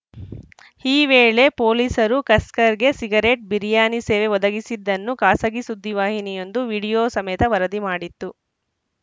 ಈ ವೇಳೆ ಪೊಲೀಸರು ಕಸ್ಕರ್‌ಗೆ ಸಿಗರೆಟ್‌ ಬಿರಿಯಾನಿ ಸೇವೆ ಒದಗಿಸಿದ್ದನ್ನು ಖಾಸಗಿ ಸುದ್ದಿವಾಹಿನಿಯೊಂದು ವಿಡಿಯೋ ಸಮೇತ ವರದಿ ಮಾಡಿತ್ತು